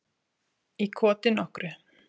Í koti nokkru.